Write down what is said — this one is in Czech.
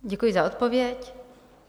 Děkuji za odpověď.